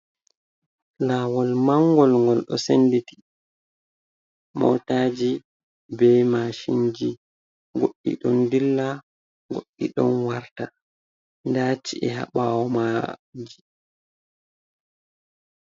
Lawol mangol, ngol ɗo senditi motaji be mashinji goddi ɗon dilla goddi ɗon warta, daci’eha ɓawo maji.